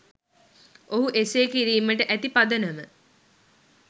ඔහු එසේ කිරීමට ඇති පදනම